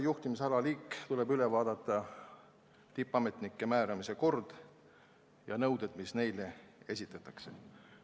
Järgmisena tuleb üle vaadata tippametnike määramise kord ja nõuded, mis neile esitatakse.